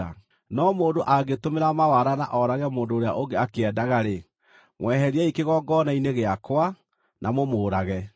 No mũndũ angĩtũmĩra mawara na oorage mũndũ ũrĩa ũngĩ akĩendaga-rĩ, mweheriei kĩgongona-inĩ gĩakwa, na mũmũũrage.